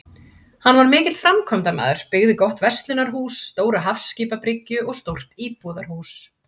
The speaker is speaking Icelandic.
Hann var mikill framkvæmdamaður, byggði gott verslunarhús, stóra hafskipabryggju og stórt íbúðarhús.